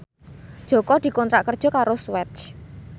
Jaka dikontrak kerja karo Swatch